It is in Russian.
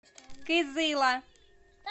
кызыла